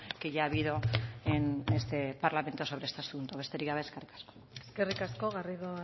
que ya ha habido en este parlamento sobre este asunto besterik gabe eskerrik asko eskerrik asko garrido